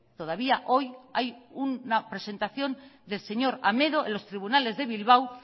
todavía hoy hay una presentación del señor amedo en los tribunales de bilbao